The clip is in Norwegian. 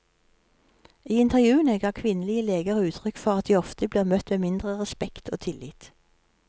I intervjuene ga kvinnelige leger uttrykk for at de ofte blir møtt med mindre respekt og tillit.